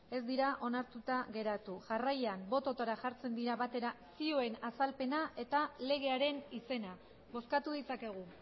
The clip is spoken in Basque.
ez dira onartuta geratu jarraian botoetara jartzen dira batera zioen azalpena eta legearen izena bozkatu ditzakegu